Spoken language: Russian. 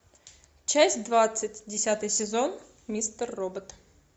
часть двадцать десятый сезон мистер робот